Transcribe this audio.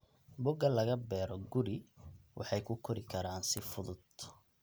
Boga laga beero guri waxay ku kori karaan si fudud.